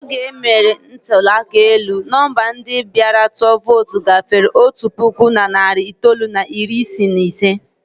Oge e mere ntụli aka elu, nọmba ndị bịara tụọ vootu gafere otu puku na narị itoolu na iri isii na ise.